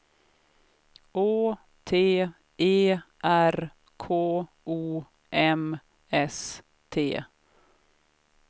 Å T E R K O M S T